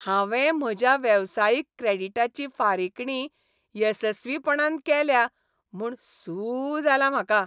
हांवें म्हज्या वेवसायीक क्रेडीटाची फारीकणी येसस्वीपणान केल्या म्हूण सू जालां म्हाका.